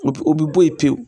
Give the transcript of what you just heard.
O bi o bɛ bɔ yen pewu